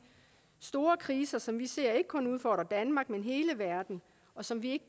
store kriser som vi ser ikke kun udfordre danmark men hele verden og som vi